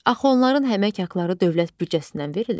Axı onların əmək haqqları dövlət büdcəsindən verilir.